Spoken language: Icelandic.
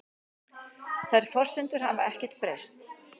Þær forsendur hafi ekkert breyst